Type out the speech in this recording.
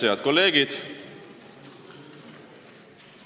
Head kolleegid!